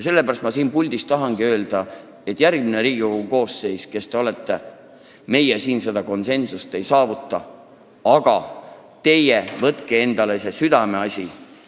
Sellepärast ma siit puldist tahangi öelda, et meie siin seda konsensust ei saavuta, aga järgmine Riigikogu koosseis, kes te ka pole, teie võtke see endale südameasjaks!